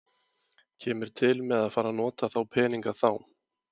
Kemur til með að fara að nota þá peninga þá?